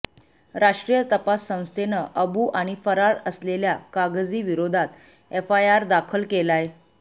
राष्ट्रीय तपास संस्थेनं अबू आणि फरार असलेल्या कागझी विरोधात एफआयआर दाखल केलाय